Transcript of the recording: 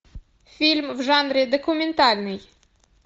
фильм в жанре документальный